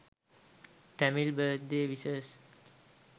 tamil birthday wishes